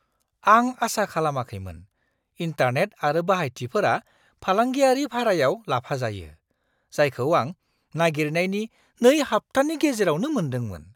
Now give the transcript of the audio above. आं आसा खालामाखैमोन, इन्टारनेट आरो बाहायथिफोरा फालांगियारि भारायाव लाफाजायो, जायखौ आं नागिरनायनि नै हाब्थानि गेजेरावनो मोन्दोंमोन!